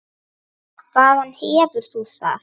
Hvaðan hefur þú það?